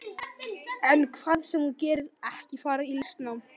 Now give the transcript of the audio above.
En hvað sem þú gerir, ekki fara í listnám.